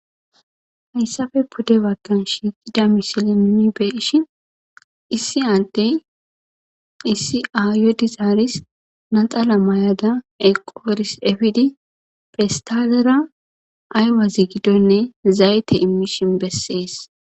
hayssafe pudde baggan shiiqida misileni be'ishin issi ande issi ayodi zaaris naxala may7ada eqooris efidi pestalera aywazi giddonne zayte immishin bessees